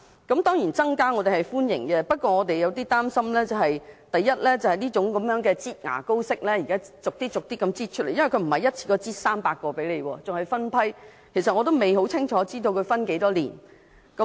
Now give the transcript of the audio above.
我們當然歡迎增加名額，但對這種"擠牙膏"式的做法有少許擔心，因為不是一次過增加300個名額，而是分批增加，仍未清楚知道需時多少年。